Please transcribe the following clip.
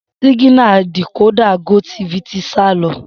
Siginà díkòdà gótifì ti sà lọ